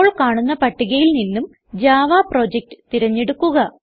അപ്പോൾ കാണുന്ന പട്ടികയിൽ നിന്നും ജാവ പ്രൊജക്ട് തിരഞ്ഞെടുക്കുക